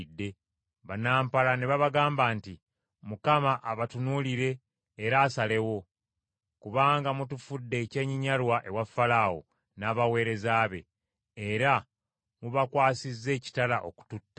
Bannampala ne babagamba nti, “ Mukama abatunuulire era asalewo; kubanga mutufudde ekyenyinyalwa ewa Falaawo n’abaweereza be, era mubakwasizza ekitala okututta.”